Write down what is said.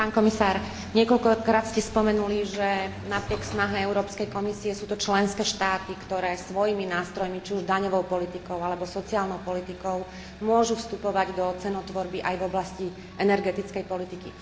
Pán komisár, niekoľkokrát ste spomenuli, že napriek snahe Európskej komisie sú to členské štáty, ktoré svojimi nástrojmi, či už daňovou politikou alebo sociálnou politikou, môžu vstupovať do cenotvorby aj v oblasti energetickej politiky.